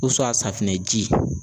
safunɛ ji